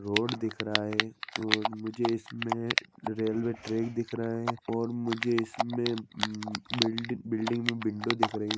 Road दिख रहा है और मुझे इसमें रेलवे ट्रैक दिख रहा है और मुझे इसमें उन बिल्ड बिल्डींग में विंडो दिख रही है।